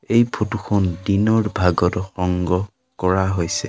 এই ফটো খন দিনৰ ভাগত সংগ্ৰহ কৰা হৈছে।